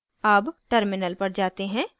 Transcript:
अब terminal पर जाते हैं